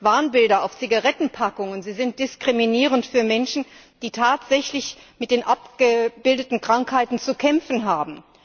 Warnbilder auf Zigarettenpackungen sind diskriminierend für Menschen, die tatsächlich mit den abgebildeten Krankheiten zu kämpfen haben.